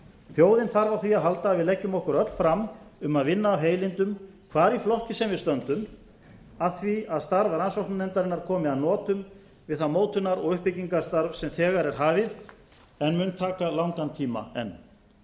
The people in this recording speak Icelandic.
þjóðin þarf á því að halda að við leggjum okkur öll fram um að vinna af heilindum hvar í flokki sem við stöndum að því að starf rannsóknarnefndarinnar komi að notum við það mótunar og uppbyggingarstarf sem þegar er hafið en mun taka langan tíma enn